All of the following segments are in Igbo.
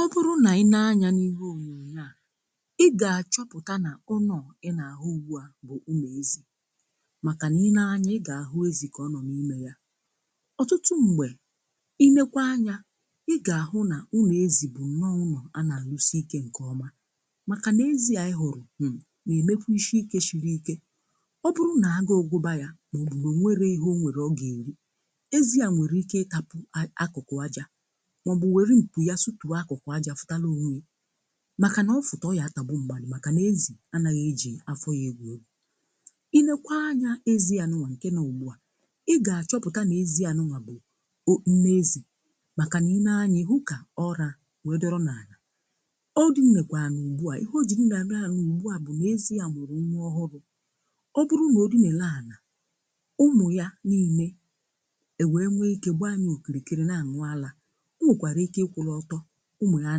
Ọ bụrụ na ị nee anya n’ihe ònyonyo à, i ga-achọpụta na ụnọ ị na-ahụ ugbu à bụ ụnọ ezi màkà na i nee anya, ị ga-ahụ ezi kọ ọ nọ n’ime yà. Ọ̀tụtụ mgbè, i nekwa anya, ị ga-ahụ na ụnọ ezi bụ nọọ ụnọ anà-alụsi ike nke ọma màkà na-ezi à ị hụrụ, um na emekwu ishii ike shiri ike. Ọ bụrụ na-agu gụba yà, ma ọ bụ na o nwere ihe o nwere ọ ga-erì; ezi à nwere ike ịtapụ a akụkụ ajà ma ọ bụ nwere mpụ ya sụpụ akụkụ ajà fụtalà onwe màkà nà ọ fụtà, ọ yà tàgbù mmadu màkà nà-ezì anàghị ejì afọ yà egwu egwu. I nekwa anya, ezi anụwa ǹkè nọ ugbu à, i gà-achọpụta nà ezi anụwa bụ o, nne ezì màkà nà i nee anya, i hu kà ọrà wee dọrọ n’anà; ọ dị m mekwa n’ugbu à, ihe ọ ji mma na-eme ugbu à bụ nà ezi à mụrụ nwa ọhụrụ. Ọ bụrụ na o dị nà-ele anà ụmụ yà niile, e wee nwe ike gbaa ya okirikiri na-anụ ala; ọnwekwara ike ikwuru ọtọ ụmụ ya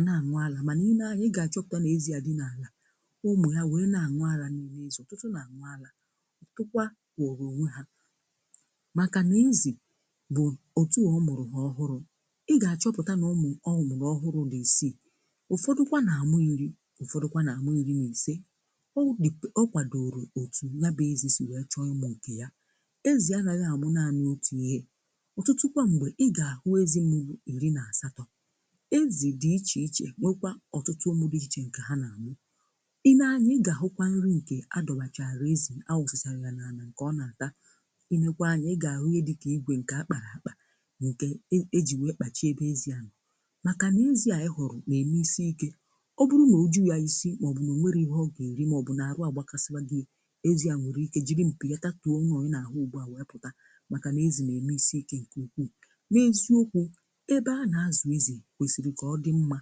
na-anụ ala, màna ị nee anya, ị ga-achọpụta na ezi a dị n’alà, ụmụ ya wee na-anụ ala n’izu. Ọ̀tụtụ na-anụ ala; ọ̀tụtụkwa nọrọ onwe ha màkà na ezì bụ otu a ọmụrụ ha ọhụrụ. Ị ga-achọpụta na ụmụ ọ ọmụrụ ọhụrụ dị isii; ụfọdụkwa na-amụ iri, ụfọdụkwa na-amụ iri na ise, o dipe, o kwadoro otu ya bụ ezi si wee chọọ ụmụ nke ya. Ezi anaghị amụ naanị otu ihe. Ọ̀tụtụ kwa mgbè, ị ga-ahụ ezigbo mụrụ iri na asatọ, ezì dị iche iche nwekwa ọ̀tụtụ ọmụ dị iche ǹkè ha nà-àmụ. I nee anya, ɪ gà-àhụkwa nrì ǹkè adọwàchàra ezì, anwụzịsàrà yà n’anà ǹkè ọ na-àta, ị nee kwa anya, ị gà-àhụ ịnye dịkà igwè ǹkè akpàrà akpà, ǹkè e ejì wee kpàchịà ebe ezi à nọọ màkà nà ezì a ị hụrụ na-ème isi ikę. Ọ bụrụ nà o juu ya isi mà ọ bụ nà o nwere ihe ọ gà-èrì mà ọ bụ nà-arụ àgbakasịwà gị a, ezi à nwere ike jiri mpì ya tatụọ uṅọ ị nà-àhụ ugbu à wèe pụta màkà nà ezi na-ème isi ike ǹkè ukwuu. N’eziokwu, ebe a na-azụ ezì, kwesiri ka ọ dị mma,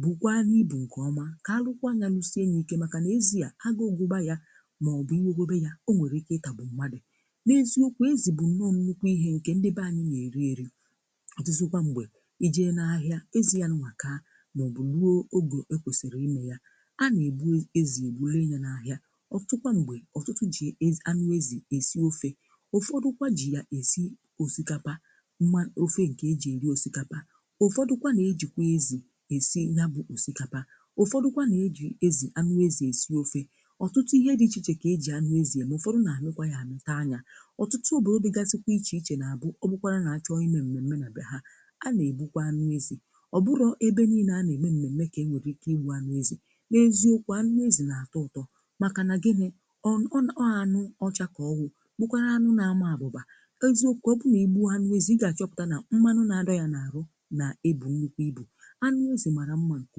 bụkwanụ ibụ nke ọ̀ma, ka alụkwa ya lụsie ya ike maka na ezi a, agụ gụba ya mà ọ bụ ikwe kwebe ha, o nwere ike itagbụ mmadu. N’eziokwu, ezi bụ nọ̀ọ̀ nnukwu ihe nke ndị baa anyi n'eri eri. ọ̀tụtụ kwa mgbè, ịje na ahịa, èzi anuwa ka ma ọ bụ rụọ oge ekwesiri ime ya, ana egbu ezi egbu, lee ya na-ahịa, ọ̀tụtukwa mgbe, ọtụtụ ji ezi, anụ ezì èsi ofè, ụfọdụkwa ji ya esi osikapa, mma, ofe nke ji eri osikapa, ụfọdụkwa n'ejikwa ezi esi yabụ osikapa, ụfọdụkwa n'eji ezi anu ezi esi ofe, ọtụtụ ihe dị iche ichè kà-ejì anụ ezì eme, ụfọdụ nà-amịkwa yà ami taa ya. Ọ̀tụtụ obòdò digasi kwa iche iche na-abụ, ọ bụkwarà nà-achọọ ime mmème na be ha; a na-ègbukwa anụ ezì. Ọ bụrọ ebe niile a na-ème mmème kà e nwèrè ike igbu anụ ezì. N’eziokwu, anụ ezì na-atọ ụtọ màkà na gịnị ọ n, ọ ànụ ọchà kà ọ wụ; bụkwarà anụ na-ama abụbà. Eziokwu, ọ bụ n'igbuọ anụ ezì, ị ga-achọpụta na mmanụ na-adọ yà na-arụ na-ebù nnukwu ibù, anụ ezi mara mma nke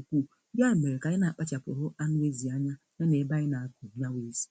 nkwuu, ya mere ka anyị na-akpachapụrụ anụ ezi anya, ya na-ebe anyị na-akụ yabụ ezi.